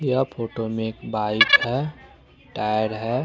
यह फोटो में एक बाइक है टायर है।